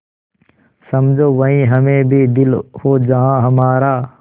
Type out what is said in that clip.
समझो वहीं हमें भी दिल हो जहाँ हमारा